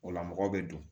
O la mɔgɔ bɛ don